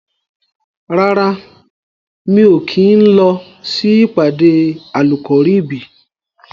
Rárá, mi ò kí ń lọ sí ìpàdé Àlùkọ̀ríbìì.